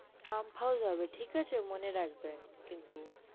pump house হবে ঠিক আছে মনে রাখবেন কিন্তু